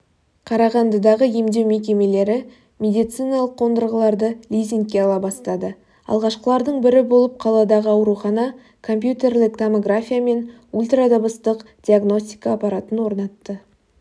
қарағандыдағы емдеу мекемелері медициналық қондырғыларды лизингке ала бастады алғашқылардың бірі болып қаладағы аурухана компьютерлік томография мен ультрадыбыстық диагностика аппаратын орнатты